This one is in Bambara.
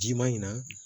Ji ma ɲin na